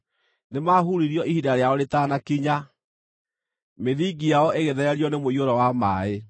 Nĩmahuririo ihinda rĩao rĩtanakinya, mĩthingi yao ĩgĩthererio nĩ mũiyũro wa maaĩ.